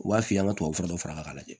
U b'a f'i ye ka tubabufura lajɛ